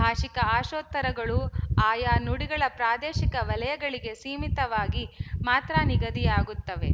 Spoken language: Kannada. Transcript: ಭಾಶಿಕ ಆಶೋತ್ತರಗಳು ಆಯಾ ನುಡಿಗಳ ಪ್ರಾದೇಶಿಕ ವಲಯಗಳಿಗೆ ಸೀಮಿತವಾಗಿ ಮಾತ್ರ ನಿಗದಿಯಾಗುತ್ತವೆ